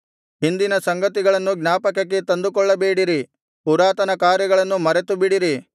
ಹಿಂದಿನ ಸಂಗತಿಗಳನ್ನು ಜ್ಞಾಪಕಕ್ಕೆ ತಂದುಕೊಳ್ಳಬೇಡಿರಿ ಪುರಾತನ ಕಾರ್ಯಗಳನ್ನು ಮರೆತುಬಿಡಿರಿ